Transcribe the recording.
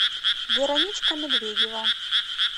вероничка медведева